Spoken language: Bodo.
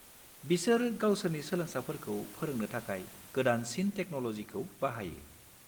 बिसोर गावसोरनि सोलोंसाफोरखौ फोरोंनो थाखाय गोदानसिन टेकन'ल'जिखौ बाहायो।